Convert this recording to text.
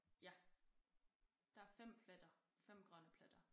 Ja der er 5 pletter 5 grønne pletter